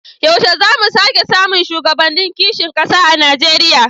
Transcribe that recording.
Yaushe za mu sake samun shugabannin kishin kasa a Najeriya?